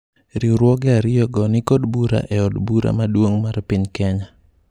riwruoge ariyo go nikod bura e od bura maduong' mar piny Kenya